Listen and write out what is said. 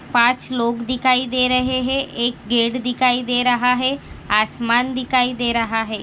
पांच लोग दिखाई दे रहे है एक गेट दिखाई दे रहा है आसमान दिखाई दे रहा है।